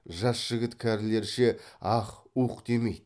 жас жігіт кәрілерше аһ уһ демейді